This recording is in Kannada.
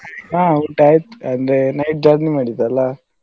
ಹಾ ಊಟಾಯ್ತು ಅಂದ್ರೆ night journey ಮಾಡಿದ್ದಲ್ಲಾ.